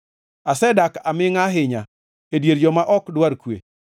Asedak amingʼa ahinya, e dier joma ok dwar kwe.